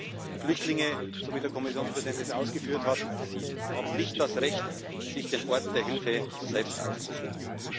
Klar ist Flüchtlinge so, wie der Kommissionspräsident das ausgeführt hat haben nicht das Recht, sich den Ort der Hilfe selbst auszusuchen.